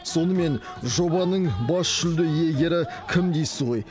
сонымен жобаның бас жүлде иегері кім дейсіз ғой